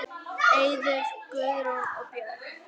Eiður, Guðrún og börn.